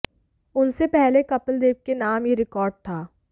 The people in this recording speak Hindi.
उनसे पहले कपिल देव के नाम यह रिकार्ड था